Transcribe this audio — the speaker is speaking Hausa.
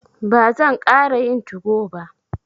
Ba zan ƙara yin tugo ba.